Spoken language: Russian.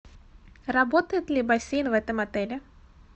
работает ли бассейн в этом отеле